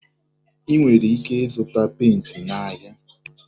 Ị nwere ike ịzụta penti n'ahịa.